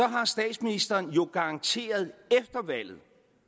har statsministeren jo garanteret efter valget